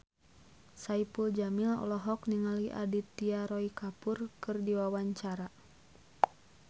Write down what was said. Saipul Jamil olohok ningali Aditya Roy Kapoor keur diwawancara